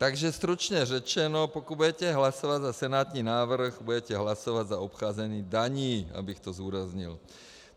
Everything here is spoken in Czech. Takže stručně řečeno, pokud budete hlasovat za senátní návrh, budete hlasovat za obcházení daní, abych to zdůraznil.